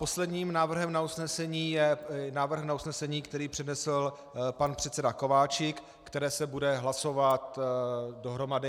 Posledním návrhem na usnesení je návrh na usnesení, který přednesl pan předseda Kováčik, které se bude hlasovat dohromady.